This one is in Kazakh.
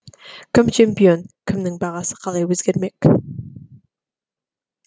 кім чемпион кімнің бағасы қалай өзгермек